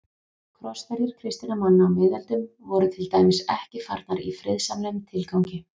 Krossferðir kristinna manna á miðöldum voru til dæmis ekki farnar í friðsamlegum tilgangi.